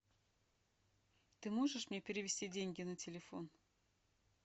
ты можешь мне перевести деньги на телефон